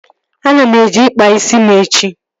Ana m eje ịkpa isi m echi